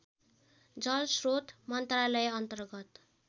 जलस्रोत मन्त्रालयअन्तर्गत